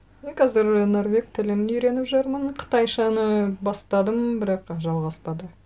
мен қазір норвег тілін үйреніп жүрмін қытайшаны бастадым бірақ жалғаспады